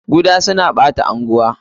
Kuda suna ɓata anguwa.